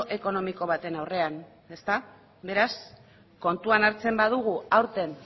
ekonomiko baten aurrean ezta beraz kontuan hartzen badugu aurten